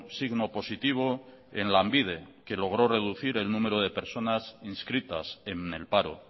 signo positivo en lanbide que logró reducir el número de personas inscritas en el paro